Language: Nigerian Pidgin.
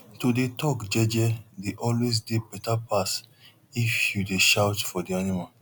to dey talk jeje dey always dey better pass if you dey shout for di animal